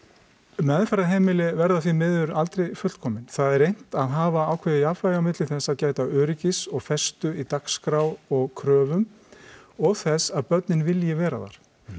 meðferðarheimili verða því miður aldrei fullkomin það er reynt að hafa ákveðið jafnvægi á milli þess að gæta öryggis og festu í dagskrá og kröfum og þess að börnin vilji vera þar